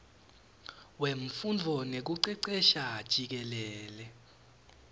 wemfundvo nekucecesha jikelele